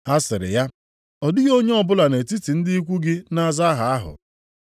Ha sịrị ya, “Ọ dịghị onye ọbụla nʼetiti ndị ikwu gị na-aza aha ahụ.”